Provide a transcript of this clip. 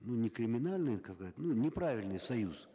ну не криминальный ну неправильный союз